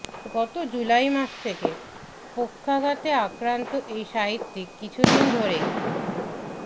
গত জুলাই মাস থেকে পক্ষাঘাতে আক্রান্ত এই সাহিত্যিক কিছুদিন ধরেই